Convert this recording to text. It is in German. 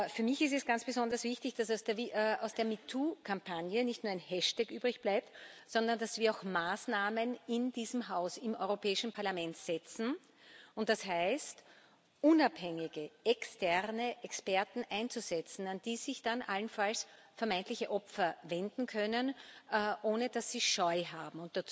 Für mich ist es ganz besonders wichtig, dass aus der MeToo Kampagne nicht nur ein Hashtag übrigbleibt, sondern dass wir auch Maßnahmen in diesem Haus im Europäischen Parlament setzen und das heißt, unabhängige externe Experten einzusetzen, an die sich dann allenfalls vermeintliche Opfer wenden können, ohne dass sie Scheu haben.